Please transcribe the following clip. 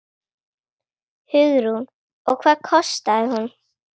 Hugrún: Og hvað kostaði hún?